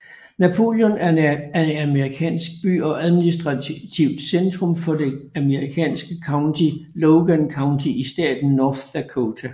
Napoleon er en amerikansk by og administrativt centrum for det amerikanske county Logan County i staten North Dakota